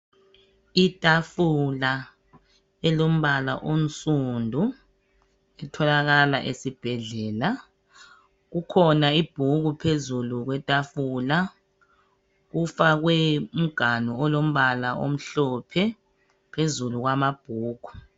Itafula elombala omsundu itholakala esibhedlela, kukhona ibhuku phezulu kwetafula. Kufakwe umganu olompala omhlphe phezulu kwamabhuku.